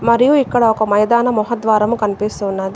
మరియు ఇక్కడ ఒక మైదాన ముహ ద్వారం కనిపిస్తున్నది.